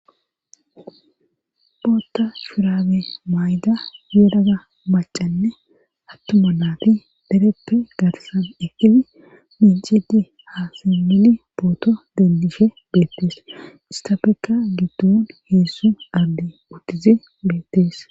bootta shurabe mayda yelaga macanne attuma naati dereppe garsan ekkili binjidi hasimili pooto dendishe beettees istafekka giddun heessu abdey uttid beettees